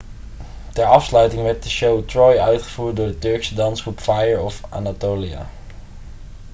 ter afsluiting werd de show troy' uitgevoerd door de turkse dansgroep fire of anatolia